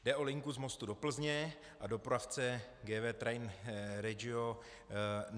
Jde o linku z Mostu do Plzně a dopravce GW Train Regio.